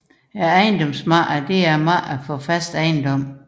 Ejendomsmarkedet er markedet for fast ejendom